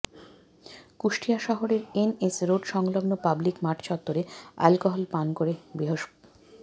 কুষ্টিয়া শহরের NS road সংলগ্ন public মাঠ চত্বরে অ্যালকোহল পান করে বৃহস্প